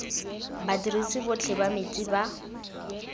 badirisi botlhe ba metsi ba